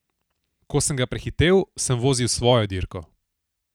Ko sem ga prehitel, sem vozil svojo dirko.